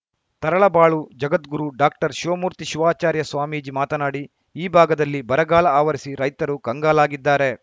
Taralabalu Jagadguru doctor Shivamurthy Shivacharya Swamiji ಮಾತನಾಡಿ ಈ ಭಾಗದಲ್ಲಿ ಬರಗಾಲ ಆವರಿಸಿ ರೈತರು ಕಂಗಾಲಾಗಿದ್ದಾರೆ